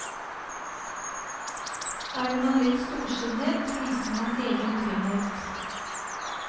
Er man litt storsinnet, viser man egen trygghet.